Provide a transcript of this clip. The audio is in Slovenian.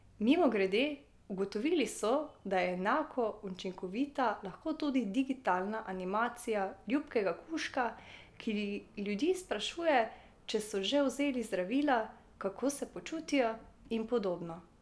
Mimogrede, ugotovili so, da je enako učinkovita lahko tudi digitalna animacija ljubkega kužka, ki ljudi sprašuje, če so že vzeli zdravila, kako se počutijo in podobno.